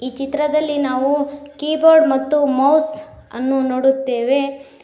ಚಿತ್ರದಲ್ಲಿ ನಾವು ಕೀಬೋರ್ಡ್ ಮತ್ತು ಮೌಸ್ ಅನ್ನು ನೋಡುತ್ತೇವೆ.